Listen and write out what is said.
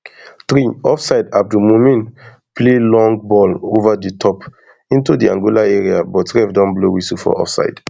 three offsideabdul mumin play long ball ova di top into di angola area but ref don blow whistle for offside